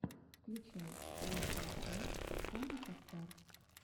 включай лучшую часть тамика стар